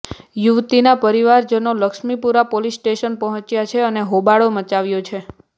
યુવતીના પરિવારજનો Laxmipura police station પહોંચ્યા છે અને હોબાળો મચાવ્યો છે